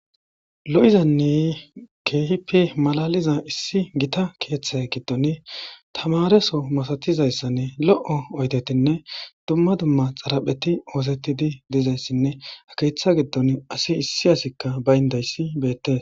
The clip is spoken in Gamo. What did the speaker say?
Lo'izanne keehippe malaliza issi gita keethe giddoni tamaareso masatizaysanne lo'o oydetinne dumma dumma xarapheti oosetidi dizayssinne ha keetha giddoni asi issi asiykka bayndayssi beetees.